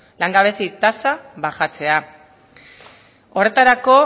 langabezi tasa bajatzea horretarako